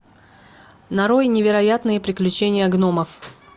нарой невероятные приключения гномов